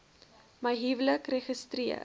my huwelik registreer